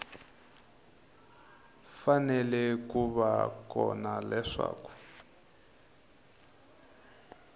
fanele ku va kona leswaku